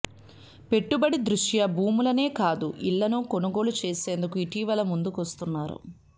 పెట్టుబడి దృష్ట్యా భూములనే కాదు ఇళ్లను కొనుగోలు చేసేందుకు ఇటీవల ముందుకొస్తున్నారు